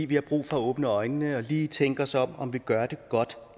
vi har brug for at åbne øjnene og lige tænke os om om vi gør det godt